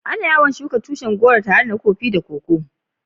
Ana yawan shuka tushin goro tare da na Koko da Kofi.